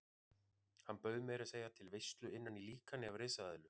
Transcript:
Hann bauð meira að segja til veislu innan í líkani af risaeðlu.